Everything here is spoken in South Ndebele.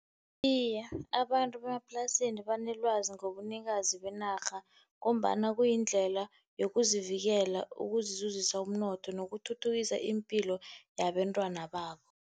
Iye, abantu bemaplasini banelwazi ngobunikazi benarha, ngombana kuyindlela yokuzivikela, ukuzizuzisa umnotho, nokuthuthukisa ipilo yabentwana babo.